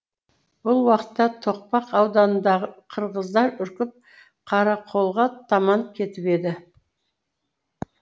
бұл уақытта тоқпақ ауданындағы қырғыздар үркіп қарақолға таман кетіп еді